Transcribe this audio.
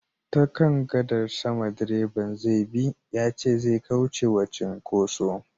Ta kan gadar sama direban zai bi yace zai kauce wa cinkoso